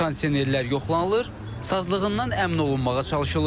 Kondisionerlər yoxlanılır, sazlığından əmin olunmağa çalışılır.